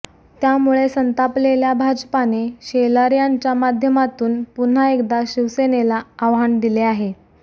त्यामुळे संतापलेल्या भाजपाने शेलार यांच्या माध्यमातून पुन्हा एकदा शिवसेनेला आव्हान दिले आहे